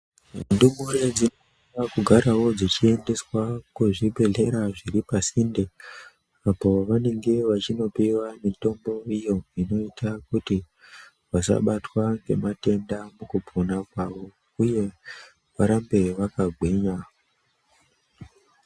Ndumure dzinoda kugarawo dzichiendeswa kuzvibhedhera zviripasinde apo vanenge vachinopiwa mitombo iyo inoita kuti vasabatwa ngematenda mukupona kwavo uye varambe vakagwinya.